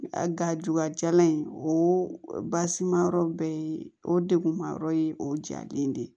A ga ju ka jalan in o basi ma yɔrɔ bɛɛ ye o degun ma yɔrɔ ye o jalen de ye